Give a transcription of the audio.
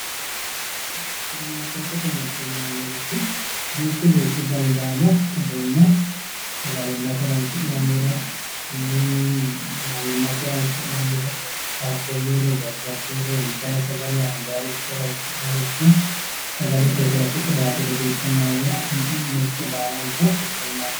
Supirimaariketete mirte yinnanirichi duuchu duuchu danni daanno uduune sagalimate horonsi'nannire ii'i manimate horonsi'nannire qaaqqulure, jajjabuyire intanni sagale anganiricho horonsi'nanniricho sagalete kayise qiwatete geeshsha noore mirte baallanta supirimaarikete yinneemmo.